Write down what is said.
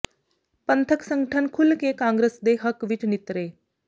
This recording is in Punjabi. ਪੰਥਕ ਸੰਗਠਨ ਖੁੱਲ ਕੇ ਕਾਂਗਰਸ ਦੇ ਹੱਕ ਵਿੱਚ ਨਿੱਤਰੇ